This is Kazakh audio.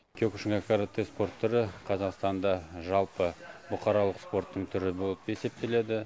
киокушинкай каратэе спорт түрі қазақстанда жалпы бұқаралық спорттың түрі болып есептеледі